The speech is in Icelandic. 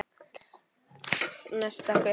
Enginn gat snert okkur.